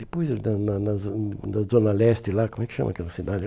Depois da na na Zo na Zona Leste lá, como é que chama aquela cidade?